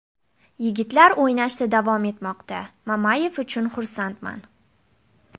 Yigitlar o‘ynashda davom etmoqda Mamayev uchun xursandman.